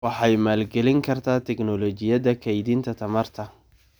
Waxay maalgelin kartaa tignoolajiyada kaydinta tamarta.